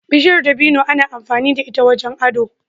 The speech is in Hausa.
Bishiyar dabino ana amfani da ita wajen ado.